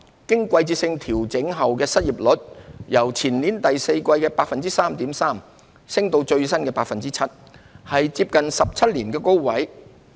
經季節性調整的失業率由前年第四季的 3.3% 升至最新的 7%， 是接近17年的高位。